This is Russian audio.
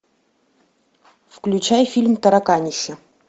включай фильм тараканище